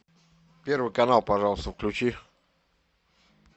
первый канал пожалуйста включи